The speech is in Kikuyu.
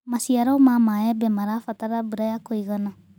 Macĩaro ma mbembe marabatara mbũra ya kũĩgana